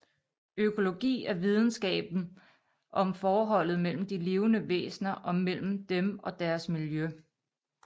Økologi er videnskaben om forholdet mellem de levende væsner og mellem dem og deres miljø